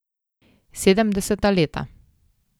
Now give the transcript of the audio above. Sedemdeseta leta.